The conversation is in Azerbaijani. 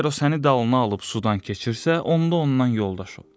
Əgər o səni dalına alıb sudan keçirsə, onda ondan yoldaş ol.